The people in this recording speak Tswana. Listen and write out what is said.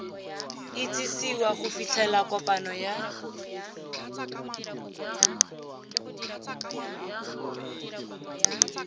itsisiwa go fitlhela kopano ya